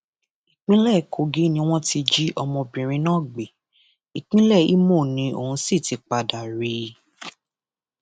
ìpínlẹ kogi ni wọn ti jí ọmọbìnrin náà gbé ìpínlẹ ìmọ ní ọn sì ti padà rí i